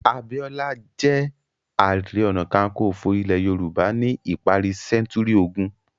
Abiola jẹ́ ààrẹ-ọnà-káńkafo ilẹ̀ Yorùbá ní ìparí sẹ́ńtúrì ogún.